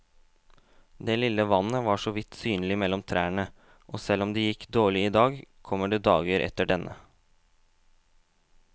Det lille vannet var såvidt synlig mellom trærne, og selv om det gikk dårlig i dag, kommer det dager etter denne.